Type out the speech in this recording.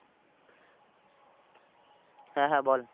হ্যাঁ হ্যাঁ বল।